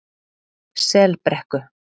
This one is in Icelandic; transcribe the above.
Selbrekku